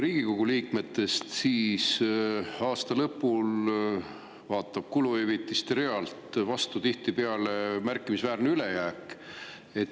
Riigikogu liikmete kuluhüvitiste realt vaatab aasta lõpul tihtipeale vastu märkimisväärne ülejääk.